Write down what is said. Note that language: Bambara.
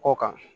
Kɔ kan